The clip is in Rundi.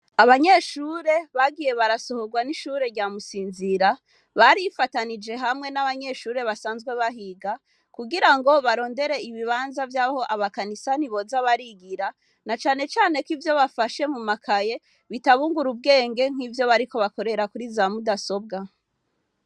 Abanyeshure bagiye barasohorwa n'ishure ryamusinzira barifatanije hamwe n'abanyeshure basanzwe bahiga kugira ngo barondere ibibanza vy'aho abakanisani boza barigira na canecane ko ivyo bafashe mu makaye bitabungura ubwenge nk'ivyo bariko bakorera kuri za mudasobwa.